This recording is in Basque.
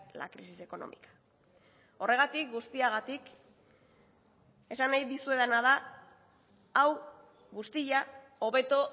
la crisis económica horregatik guztiagatik esan nahi dizuedana da hau guztia hobeto